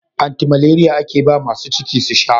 Anti malariya ake ba masu ciki su sha.